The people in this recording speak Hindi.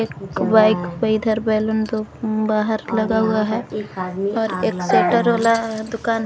एक बाइक पे इधर बैलून दो बाहर लगा हुआ है और एक शेटर वाला दुकान--